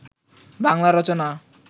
Bangla Rachana